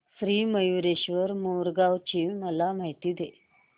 श्री मयूरेश्वर मोरगाव ची मला माहिती दे